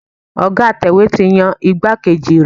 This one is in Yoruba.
Ọ̀ga atẹ̀wé ti yan igbákejì rẹ̀.